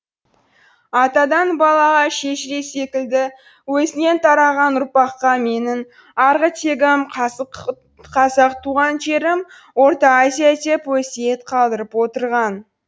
атадан балаға шежіре секілді өзінен тараған ұрпаққа менің арғы тегім қазақ туған жерім орта азия деп өсиет қалдырып отырған